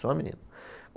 Só menino.